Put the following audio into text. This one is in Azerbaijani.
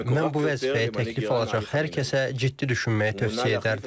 Mən bu vəzifəyə təklif alacaq hər kəsə ciddi düşünməyi tövsiyə edərdim.